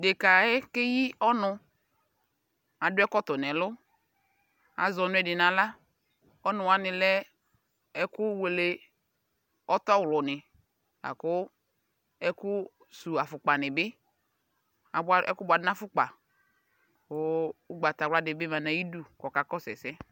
Ɖeka yɛ k'eyi ɔn Adʋ ɛkɔtɔ n'ɛlʋ, axɔ nʋ di n'aɣl Ɔnʋ wani lɛ ɛkʋ wele ɔtɔɣlʋni lakʋ ɛkʋ suwu afʋkpani bi, aba, ɛkʋ buadʋ n'afʋkpa kʋ ʋgbatawla dibi ma n'ayidu k'ɔkakɔsʋ ɛsɛ